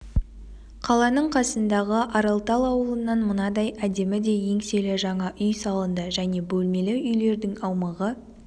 қаланың қасындағы аралтал ауылынан мынадай әдемі де еңселі жаңа үй салынды және бөлмелі үйлердің аумағы